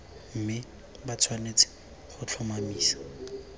mme ba tshwanetse go tlhomamisa